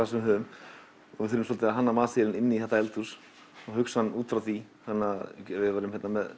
sem við höfum við þurfum svolítið að hanna matseðilinn inn í þetta eldhús og hugsa hann útfrá því þannig ef við værum með